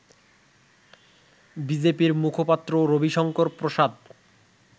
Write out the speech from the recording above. বিজেপির মুখপাত্র রবিশংকর প্রসাদ